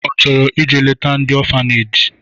Ọ chọrọ ije leta ndị ọfaneji?